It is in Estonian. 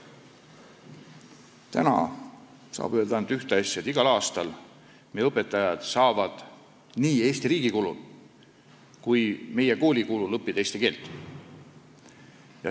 Täna saab öelda ainult ühte asja: igal aastal saavad meie õpetajad nii Eesti riigi kui ka meie kooli kulul eesti keelt õppida.